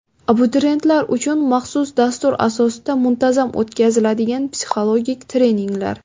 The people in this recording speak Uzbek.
Abituriyentlar uchun maxsus dastur asosida muntazam o‘tkaziladigan psixologik treninglar.